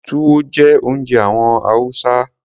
Túwó jẹ́ oúnjẹ àwọn Hausa.